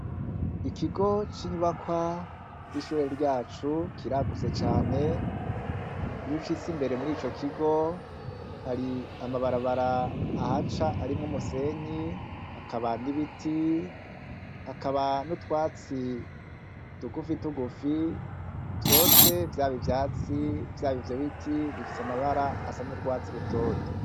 Ikigo c'inyubakwa c'ishure ryacu kiragutse cane, iyo ushitse imbere muri ico kigo hari amabarabara ahaca arimwo umusenyi, hakaba n'ibiti, hakaba n'utwatsi tugufi tugufi, vyose vyaba ivyatsi vyaba ivyo biti bifise amabara asa n'urwatsi rutoto.